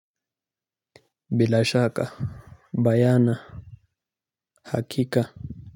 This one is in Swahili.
Bilashaka Bayana Hakika.